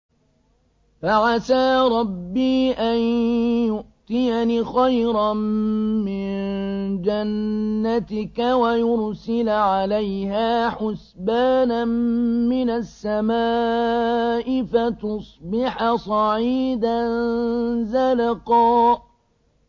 فَعَسَىٰ رَبِّي أَن يُؤْتِيَنِ خَيْرًا مِّن جَنَّتِكَ وَيُرْسِلَ عَلَيْهَا حُسْبَانًا مِّنَ السَّمَاءِ فَتُصْبِحَ صَعِيدًا زَلَقًا